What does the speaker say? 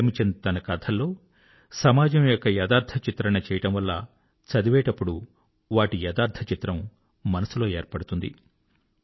ప్రేమ్ చంద్ తన కథల్లో సమాజం యొక యథార్థ చిత్రణ చేయడం వల్ల చదివేటప్పుడు వాటి యథార్థచిత్రం మనసులో ఏర్పడుతుంది